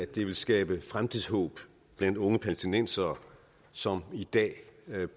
det skabe fremtidshåb blandt unge palæstinensere som i dag